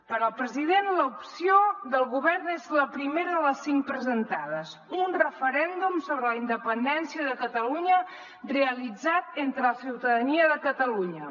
per al president l’opció del govern és la primera de les cinc presentades un referèndum sobre la independència de catalunya realitzat entre la ciutadania de catalunya